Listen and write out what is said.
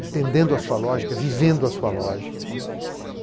Entendendo a sua lógica, vivendo a sua lógica, né.